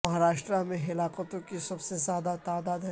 مہاراشٹرا میں ہلاکتوں کی سب سے زیادہ تعداد ہے